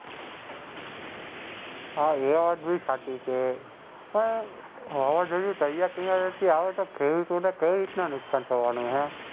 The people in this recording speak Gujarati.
હાં એ વાત બી સાચી છે. પણ વાવાઝોડું દરિયાકિનારેથી આવે તો ખેડૂતોને કઈ રીતના નુકસાન થવાનું હેં?